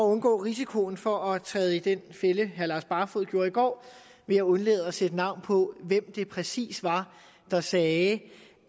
undgå risikoen for at træde i den fælde herre lars barfoed gjorde i går vil jeg undlade at sætte navn på hvem det præcis var der sagde